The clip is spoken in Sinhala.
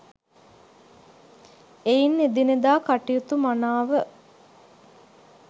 එයින් එදිනෙදා කටයුතු මනාව